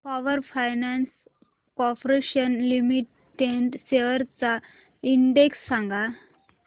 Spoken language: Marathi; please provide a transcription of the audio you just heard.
power finance corporation limited shares चा इंडेक्स सांगा